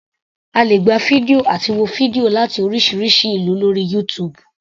A lè gba fídíò àti wo fídíò láti oríṣiríṣi ìlú lórí YouTube.